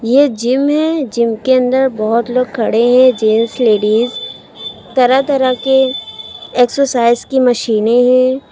ये जिम है जिम के अंदर बहुत लोग खड़े हैं जेंट्स लेडिस तरह तरह के एक्सरसाइज की मशीनें है।